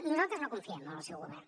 nosaltres no confiem en el seu govern